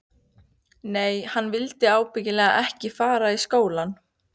Nei, hann vildi ábyggilega ekki fara í skólann.